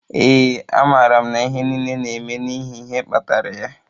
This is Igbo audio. Ee, amaara m na ihe niile na-eme n'ihi ihe kpatara ya.